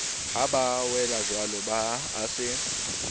ha ba welajwalo a se